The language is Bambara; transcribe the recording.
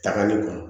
Tagali kun